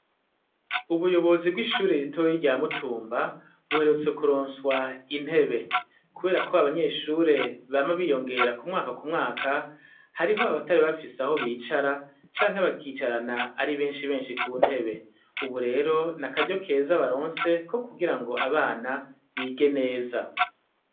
Ubuyobozi bw'ishuri ritoye rya mutumba, buherutse kuronswa intebe. Kubera ko abanyeshuri bama biyongera ku mwaka ku mwaka, hariho abatari bafise aho bicara, canke bakicarana ari benshi benshi ku ntebe. Ubu rero ni akaryo keza baronse ko kugira ngo abana bige neza.